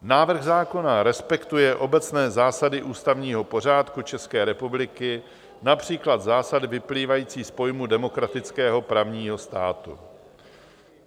Návrh zákona respektuje obecné zásady ústavního pořádku České republiky, například zásady vyplývající z pojmu demokratického právního státu.